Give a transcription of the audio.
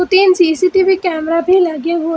तीन CCTV camera भी लगें हुए --